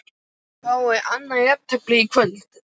Fáum við annað jafntefli í kvöld?